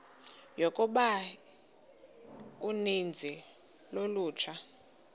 yokuba uninzi lolutsha